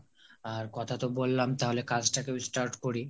আর কথা তো বললাম তাহলে কাজ টা এখন start করি